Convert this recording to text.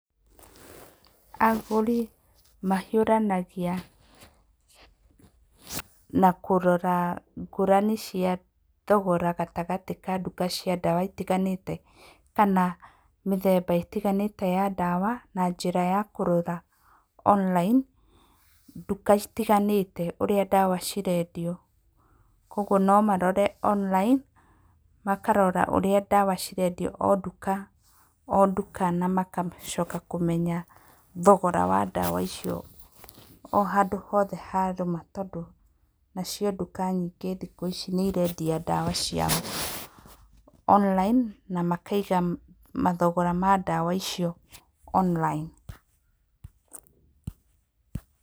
Agũri mahiũranagia na kũrora ngũrani cia thogora gatagatĩ ka nduka cia ndawa itiganĩte kana mĩthemba ĩtigamĩte ya ndawa na njĩra ya kũrora online nduka citiganĩte ũrĩa ndawa cirendio. Koguo nomarore online, makarora ũrĩa ndawa cirendio o nduka o nduka, na magacoka makamenya thogora wa ndawa icio o handũ hothe harũma tondũ nacio nduka nyingĩ thikũ ici nĩ irendia ndawa ciao online, na makaiga mathogora ma ndawa icio online.